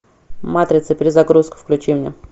матрица перезагрузка включи мне